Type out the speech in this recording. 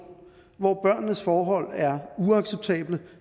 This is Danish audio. hvor børnenes forhold er uacceptable